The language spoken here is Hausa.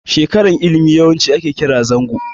Shekarar ilimi yawanci ake kira zango.